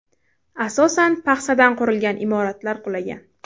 Asosan paxsadan qurilgan imoratlar qulagan.